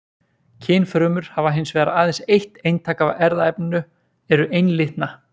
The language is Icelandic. Kynfrumur hafa hins vegar aðeins eitt eintak af erfðaefninu, eru einlitna.